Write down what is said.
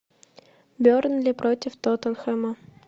бернли против тоттенхэма